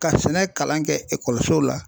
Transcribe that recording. Ka sɛnɛ kalan kɛ la.